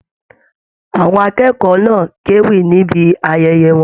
Àwọn akẹ́kọ̀ọ́ náà k'ewí níbí ayẹyẹ wọn.